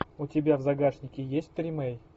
у тебя в загашнике есть тримей